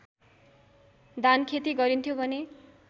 धानखेती गरिन्थ्यो भने